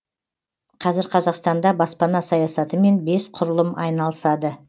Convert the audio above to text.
қазір қазақстанда баспана саясатымен бес құрылым айналысады